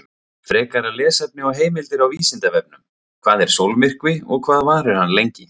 Frekara lesefni og heimildir á Vísindavefnum: Hvað er sólmyrkvi og hvað varir hann lengi?